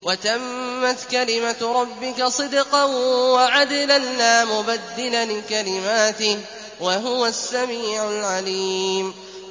وَتَمَّتْ كَلِمَتُ رَبِّكَ صِدْقًا وَعَدْلًا ۚ لَّا مُبَدِّلَ لِكَلِمَاتِهِ ۚ وَهُوَ السَّمِيعُ الْعَلِيمُ